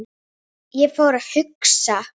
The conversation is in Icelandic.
Ég fór að hugsa.